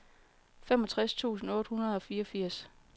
femogtres tusind otte hundrede og fireogfirs